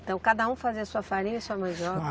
Então cada um fazia a sua farinha e a sua mandioca?